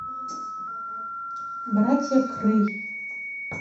братья крэй